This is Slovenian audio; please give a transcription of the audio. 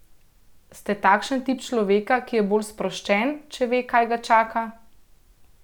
Ste takšen tip človeka, ki je bolj sproščen, če ve, kaj ga čaka?